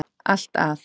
allt að